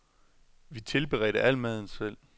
Vi tilberedte al maden selv.